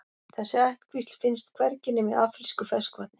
Þessi ættkvísl finnst hvergi nema í afrísku ferskvatni.